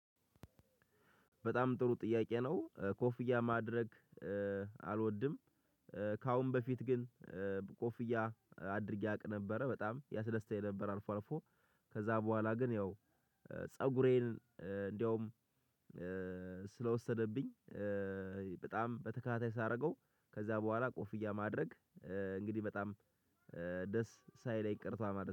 በጣም ጥሩ ጥያቄ ነው ኮፍያ ማድረግ አልወድም። ከአሁን በፊት ግን ኮፍያ አድርጌ አቅ ነበረ በጣም ያስደስተኝ ነበር አልፎ አልፎ። ከዛ በኋላ ግን ያው ፀጉሬን እንደውም ስለወሰደብኝ። በጣም በተከታታይ ሳደርገው ከዛ በኋላ ኮፍያ ማድረግ። እንግዲህ በጣም ደስ ሳይለኝ ቅርቷል